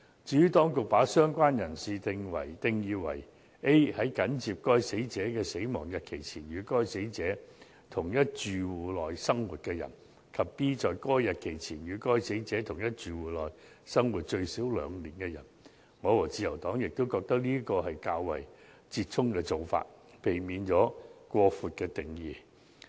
至於當局把"相關人士"定義為 a 在緊接該死者逝世的日期前，與該死者在同一住戶內生活的人；及 b 在該日期前，與該死者在同一住戶內生活最少2年的人，我和自由黨也認為是折衷的做法，避免了過闊的定義。